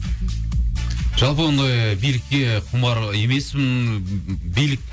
жалпы ондай билікке құмар емеспін билік